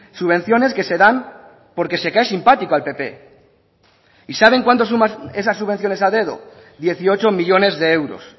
subvenciones que se dan porque se cae simpático al pp y saben cuánto suman esas subvenciones a dedo dieciocho millónes de euros